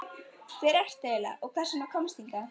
Hver ertu eiginlega og hvers vegna komstu hingað?